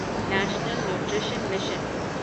national nutrition mission